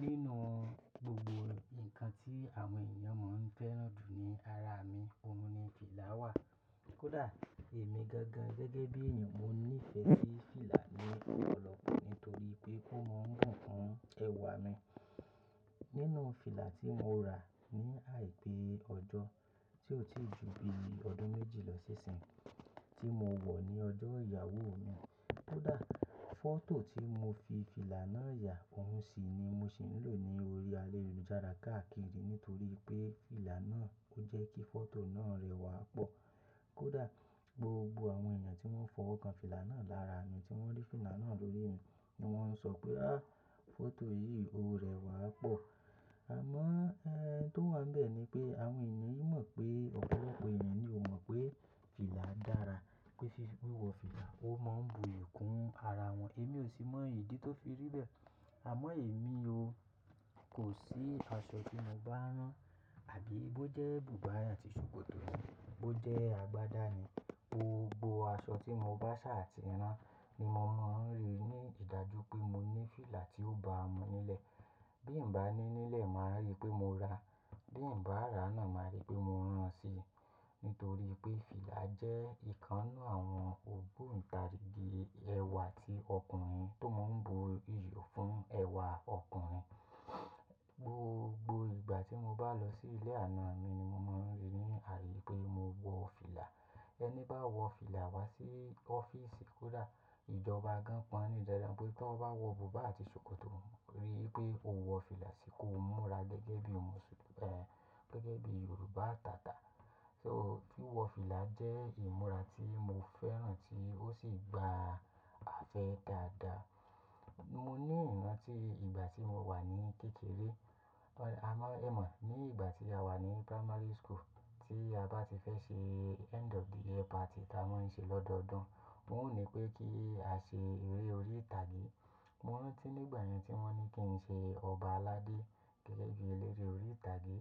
Nínú gbogbo nǹkan tí àwọn eniyàn máa ń fẹ́ràn jù ní ara mi, òun ni fìlà wà. Kódà èmi gangan gẹ́gẹ́ bí èèyàn mo nífẹ̀ẹ́ sí fìlà ní ọlọ́kọ̀ nítorí pé ó máa ń bùn kún ẹwà mi. Nínú fìlà tí mo rà ní àìpé ọjọ́ tí ó ti ju bí ọdún méjì lọ ṣ'iṣín, tí mo wọ̀ ní ọjọ́ ìyàwó mi. Kódà fọ́tò tí mo fi fìlà náà yà, òun sì ni mo sì ń lò ní orí alélujára káàkiri nítorí pé fìlà náà ò jẹ́ kí fọ́tò náà rẹwà pọ̀. Kódà gbogbo àwọn èèyàn tí wọ́n fọwọ́ kan fìlà náà lára mi tí wọ́n rí fìlà náà lórí mi ni wọ́n ń sọ pé, "àh! Fọ́tò yìí ó rẹwà pọ̀." Àmọ́ ẹ́ń tí ó wà níbẹ̀ ni pé àwọn èèyàn yóò mọ̀ pé ọ̀pọ̀lọpọ̀ èèyàn ni ò mọ̀ pé fìlà dára, pé fífí wíwọ fìlà ó máa ń bu iyì kún ara wọn. Èmi ò sì mọ ìdí tó fi rí bẹ́ẹ̀. Àmọ́ èmi o, kò sí aṣọ tí mo bá rán àbí bó jẹ́ bùbá àti ṣòkòtò ni, bó jẹ́ agbádá ni, gbogbo aṣọ tí mo bá ṣà àti rán ni mo máa ń rí ní ìdájú pé mo ní fìlà tí ó bá a mú nílẹ̀. Bí n bá ní nílẹ̀, màá rí pé mo ra, bí n bá rà á náà, màá rí pé mo rán síi. Nítorí pé fìlà jẹ́ ìkan nu àwọn ògbóǹtarigi ẹwà ti ọkùnrin tó máa ń bu iyì fún ẹwà ọkùnrin. Gbogbo ìgbà tí mo bá lọ sí ilé àná mi ni mo máa ń rí ní àrí pé mo wọ fìlà. Ẹni bá wọ fìlà wá sí ọ́fíìsì, kódà ìjọba gan-an pọ́n le ju eńi, pé tó bá wọ bùbá àti ṣòkòtò rí pé o wọ fìlà sì kó múra gẹ́gẹ́ bí òṣù-- ẹ́, gẹ́gẹ́ bí Yorùbá atata. So wíwọ fìlà jẹ́ ìmúra tí mo fẹ́ràn tí ó sì gba afẹ́ dáadáa. Mo ní ìrántí ìgbà tí mo wà ní kékeré, a máa ẹ̀ mọ̀ ní ìgbà tí a wà ní primary school tí a bá ti fẹ́ ṣe end of the year party tí a máa ń ṣe lọ́dọọdún. Wọn ò ní pé kí a ṣe eré orí ìtàgé. Mo rántí nígbà yẹn tí wọ́n ní kí n ṣe ọba aládé gẹ́gẹ́ bí eléré orí ìtàgé.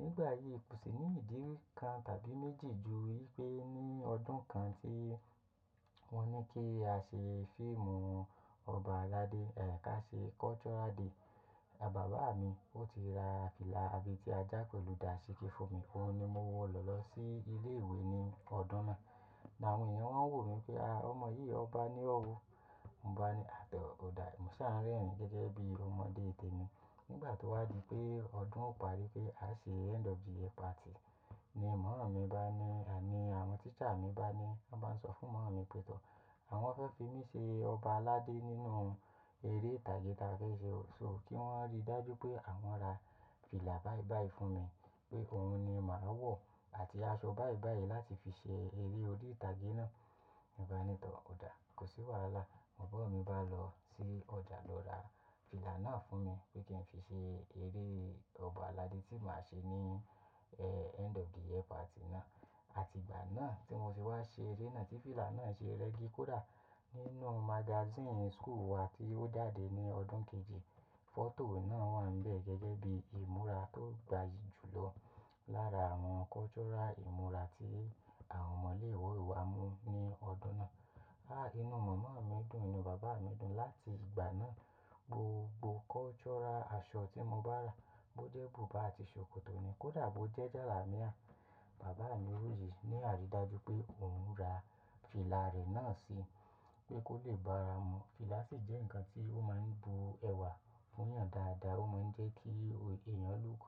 Nígbà yìí kò sì ní ìdí kan tàbí méjì ju wípé ní ọdún kan tí wọ́n ní kí a ṣe fíìmù ọba aládé, ẹ́ ká ṣe cultural day. Bàbá mi ó ti ra fìlà àbetí ajá pẹ̀lú dàsíkí fún mi, òun ni mo wọ̀ lọ lọ sí ilé ìwé ní ọdún náà. Na àwọn èèyàn wọ́n ń wò mí pé, "àh ọmọ yìí ọba ni ó wò." Mo bá ní, "àtọ̀ ò dáa, mo ṣáà ń rẹ́rìn-ín gẹ́gẹ́ bí ọmọdé tẹmi." Nígbà tí ó wá di pé ọdún ò parí pé a ṣe end of the year party ni màami bá ní, àní àwọn teacher mi bá ní, wọ́n máa ń sọ fún maàmi pé, "tọ̀, àwọn fẹ́ fi mí ṣe ọba aládé nínú eré ìtàgé tí a fẹ́ ṣe o." So kí wọ́n rí dájú pé àwọn ra fìlà báìbàì fún mi pé òun ni màá wọ̀ àti aṣọ báìbàì láti fi ṣe eré orí ìtàgé náà. Mo bá ní, "tọ̀ ò dáa, kò sí wàhálà, bàbá mi ó bá lọ sí ọjà lọ ra fìlà náà fún mi pé kí n fi ṣe eré ọba aládé tí màá ṣe ní ẹ́ end of the year party náà." Àti ìgbà náà tí mo ti wá ṣe eré náà tí fìlà náà ṣe rẹ́gì, kódà nínú magazine school wa tí ó jàdé ní ọdún kejì, fọ́tò náà wà nbẹ̀ gẹ́gẹ́ bí ìmúra tó gbayì jù lọ lára àwọn cultural ìmúra tí àwọn ọmọ ilé ìwé wa mú ní ọdún náà. Ah inú màmá mi dùn, inú bàbá mi dùn. Láti ìgbà náà gbogbo cultural aṣọ tí mo bá rà, bó jẹ́ bùbá àti ṣòkòtò ni, kó dà bó jẹ́ jàlámíà, bàbá mi ori ní àrídájú pé òun ra fìlà rẹ̀ náà si, pé kó lè bá ara mu. Fìlà sì jẹ́ nǹkan tí ó máa ń bu ẹwà fún èèyàn dáadáa, ó máa ń jẹ́ kí èèyàn look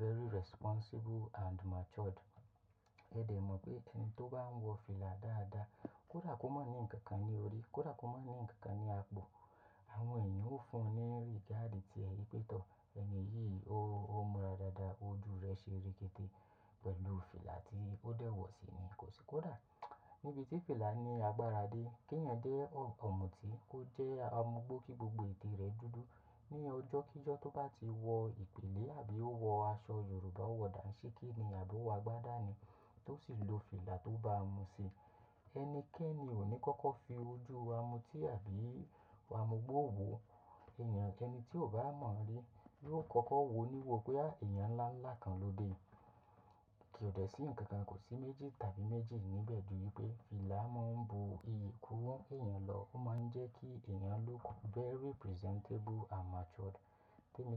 very responsible and matured. Ẹ dẹ̀ mọ̀ pé ẹni tó bá ń wọ fìlà dáadáa, kódà kó máa ní nǹkan ní orí, kódà kó máa ní nǹkan ní apò, àwọn èèyàn ó fún ọ ní regard ti ẹ̀yi wipé, "tọ̀, ènìyí ò, ó múra dáadáa, ojú rẹ̀ ṣe rékéte pẹ̀lú fìlà tí ó dẹ̀ wọ̀ síi ni, kò sì kódà níbi tí fìlà ní agbára dé, kí èèyàn dé ọ̀mùtí, ó jẹ́ ọmọ gbó kí gbogbo ètè rẹ̀ dúdú. Ni ọjọ́ kí ọjọ́ tó bá ti wọ ìpìlẹ̀ àbí ó wọ aṣọ Yorùbá ò wọ dàsíkí ni àbí ó wọ agbádá ni tó sì lo fìlà tó bá a mu síi. Ẹnikẹ́ni ò ní kọ́kọ́ fi ojú ọ̀mùtí àbí amugbó wò. Ẹ̀yàn kẹni tí ò bá mọ̀ rí yóò kọ́kọ́ wò ó níwò pé, "àh èèyàn ńláńlá kan lóde." Kì ò dẹ̀ sí nǹkan kan, kò sí méjì tàbí méjì níbẹ̀ ju wípé fìlà máa ń bu iyì kún èèyàn lọ, ó máa ń jẹ́ kí èèyàn look very presentable and matured. Tẹ́ni bá.